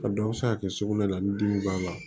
A dɔw bɛ se ka kɛ sugunɛ la ni dimi b'a la